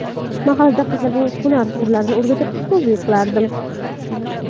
Mahalladagi qizlarga hunar sirlarini o‘rgatib, ustozlik qilardim.